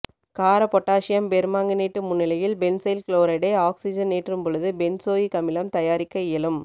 கார potassium permanganate முன்னிலையில் benzyl குளோரைடை ஆக்சிசனேற்றும்போது பென்சோயிக் அமிலம் தயாரிக்க இயலும்